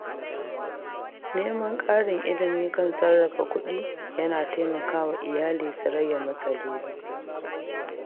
Neman ƙarin ilimi kan sarrafa kuɗi yana taimaka wa iyali su rage matsaloli.